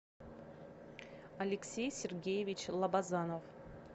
алексей сергеевич лобазанов